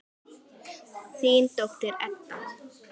Þín dóttir, Edda.